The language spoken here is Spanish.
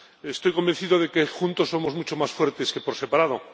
Estoy convencido de que juntos somos mucho más fuertes que por separado.